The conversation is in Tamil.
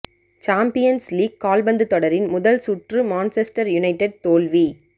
சாம்பியன்ஸ் லீக் கால்பந்து தொடரின் முதல் சுற்று மான்செஸ்டர் யுனைடெட் தோல்வி